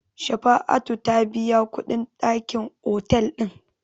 Shafa'atu ta biya kuɗin dakin otel ɗin.